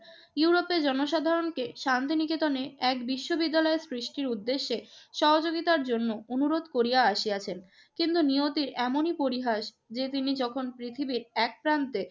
ইউরোপের জনসাধারণকে শান্তিনিকেতনে এক বিশ্ববিদ্যালয়ের সৃষ্টির উদ্দেশ্যে সহযোগিতার জন্য অনুরোধ করিয়া আসিয়াছেন। কিন্তু নিয়তির এমনই পরিহাস যে, তিনি যখন পৃথিবীর এক প্রান্তে